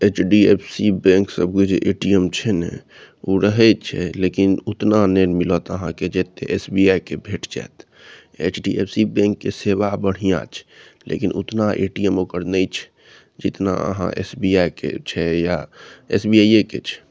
HDFC. Bank सब के जे ए.टी.एम. छै न उ रहे छै लेकिन उतना नय मिलेत अहाँ जे ते एस.बी.आइ. के भेट जात एच.डी.एफ.सी. बैंक के सेवा बढ़िया छै लेकिन उतना ए.टी.एम. ओकर नेइ छे जितना अहाँ एस.बी.आई. के छै या एस.बी.आइ. ये के छै।